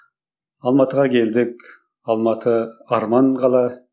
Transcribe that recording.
алматыға келдік алматы арман қала